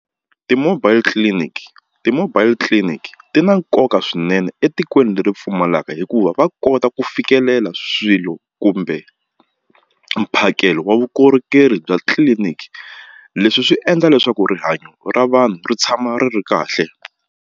Ti-mobile clinic ti-mobile clinic ti na nkoka swinene etikweni leri pfumalaka hikuva va kota ku fikelela swilo kumbe mphakelo wa vukorhokeri bya tliliniki leswi swi endla leswaku rihanyo ra vanhu ri tshama ri ri kahle.